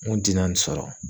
N kun ti na nin sɔrɔ.